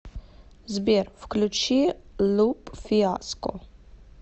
сбер включи луп фиаско